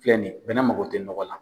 Filɛ nin ye bɛnɛ mago tɛ nɔgɔ la.